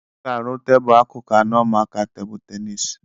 Ọ ga-arụ tebụ akụkụ anọ maka tebụ ténisi